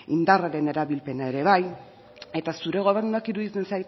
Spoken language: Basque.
indarraren erabilpena ere bai eta zure gobernuak iruditzen